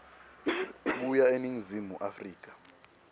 kuya eningizimu afrika